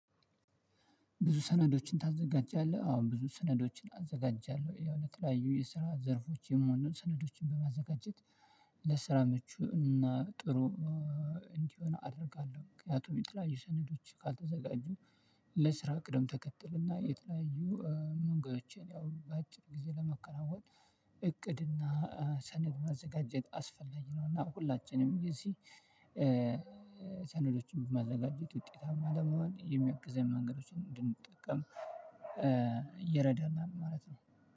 ብዙ ሰነዶችን ታዘጋጃለህ? አዎ ብዙ ሰነዶችን አዘጋጃለሁ ያው ለተለያዩ የስራ ዘርፎች የሚሆኑ ሰነዶችን በማዘጋጀት ለስራ ምቹ እና ጥሩ እንዲሆን አደርጋለሁ። ምክንያቱም የተለያዩ ሰነዶች ካልተዘጋጁ ለስራ ቅደም ተከተል እና የተለያዩ መንገዶችን ያው በአጭር ጊዜ ለማከናውን። እቅድ እና ሰነድ ማዘጋጀት አስፈላጊ ነው። እና ሁላችንም የዚህ ሰነዶችን በማዘጋጀት ውጤታማ ለመሆን የሚያግዘኝ መንገዶችን እንድንጠቀም ይረዳናል። ማለት ነው።